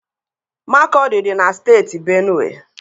Makọdị dị na Steeti Benue.